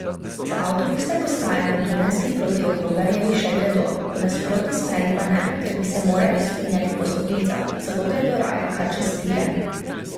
Z avtobusne postaje na Dunajski proti Okrogarjevi še gredo, v nasprotni smeri pa ne, ker bi se morali vzpenjati po stopnicah, zato gredo raje kar čez tire.